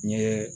N ye